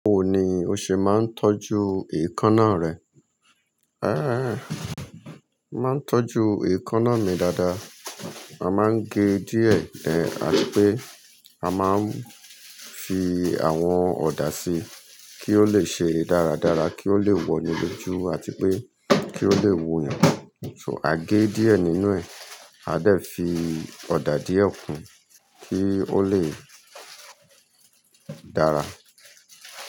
Báwo ni o ṣe máa ń tọ́jú èékánná rẹ? Ẹ̀, máa ń tọ́jú èékánná mi dáadáa. A máa ń gé díẹ̀, àri pé a máa ń fi àwọn ọ̀dà si kí ó lè ṣe dáradára, kí ó lè wọ inú ojú àti pé kí ó lè wò yàn. So a gé díẹ̀ nínú ẹ̀, a dà fi ọ̀dà díẹ̀ kún kí ó lè dára.